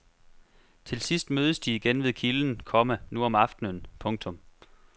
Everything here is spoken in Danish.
Til sidst mødes de igen ved kilden, komma nu om aftenen. punktum